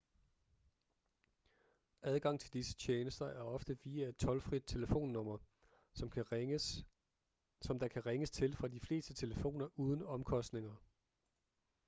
adgang til disse tjenester er ofte via et toldfrit telefonnummer som der kan ringes til fra de fleste telefoner uden omkostninger